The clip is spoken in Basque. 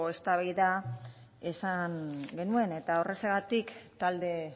eztabaida izan genuen eta horrexegatik talde